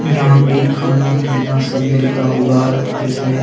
यहाँ पे खाना-पीना सब मिलता होगा जिसमें--